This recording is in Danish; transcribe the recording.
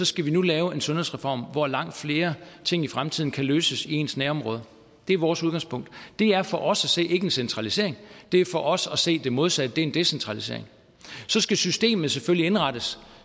skal vi nu lave en sundhedsreform hvor langt flere ting i fremtiden kan løses i ens nærområde det er vores udgangspunkt det er for os at se ikke en centralisering det er for os at se det modsatte det er en decentralisering så skal systemet selvfølgelig indrettes